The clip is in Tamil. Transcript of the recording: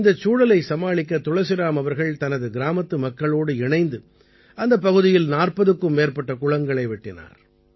இந்தச் சூழலைச் சமாளிக்க துளசிராம் அவர்கள் தனது கிராமத்து மக்களோடு இணைந்து அந்தப் பகுதியில் 40க்கும் மேற்பட்ட குளங்களை வெட்டினார்